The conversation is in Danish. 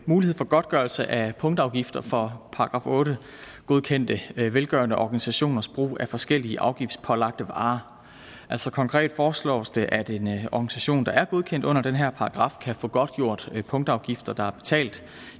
mulighed for godtgørelse af punktafgifter for § otte godkendte velgørende organisationers brug af forskellige afgiftspålagte varer altså konkret foreslås det at en organisation der er godkendt under den her paragraf kan få godtgjort punktafgifter der er betalt